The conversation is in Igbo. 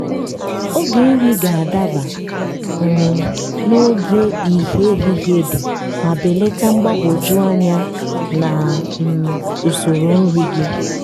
oge nri ga-adaba um n'oge ìhè ehihie dị ma belata mgbagwoju anya na um usoro nri gị.